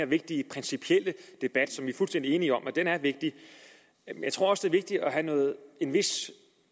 vigtige principielle debat som vi er fuldstændig enige om er vigtig jeg tror også vigtigt at have en vis